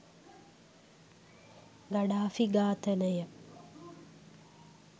Gaddafi ඝාතනය